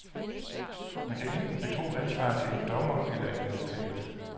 Man kan enten betro ansvaret til en dommer eller en advokat.